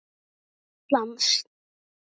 Ísland skal um aldur mey